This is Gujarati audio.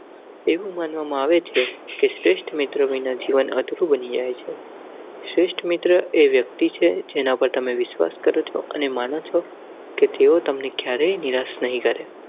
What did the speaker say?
એવું માનવામાં આવે છે કે શ્રેષ્ઠ મિત્ર વિના જીવન અધૂરું બની જાય છે. શ્રેષ્ઠ મિત્ર તે વ્યક્તિ છે જેના પર તમે વિશ્વાસ કરો અને માનો છો કે તેઓ તમને ક્યારેય નિરાશ નહીં કરેં.